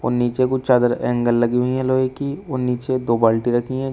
और नीचे कुछ चादर एंगल लगी हुई हैं लोहे की और नीचे दो बाल्टी रखी हैं।